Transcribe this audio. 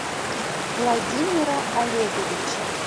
владимира олеговича